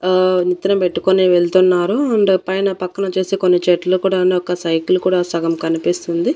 ఆ నెత్తిన పెట్టుకొని వెళ్తున్నారు అండ్ ఆ పైన పక్కన వచ్చేసి కొన్ని చెట్లు కూడాను ఒక సైకిల్ కూడా సగం కనిపిస్తుంది.